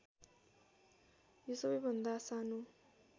यो सबैभन्दा सानो